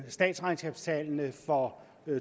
statsregnskabstallene for